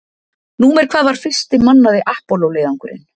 Númer hvað var fyrsti mannaði Apollo leiðangurinn?